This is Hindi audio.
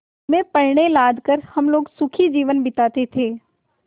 में पण्य लाद कर हम लोग सुखी जीवन बिताते थे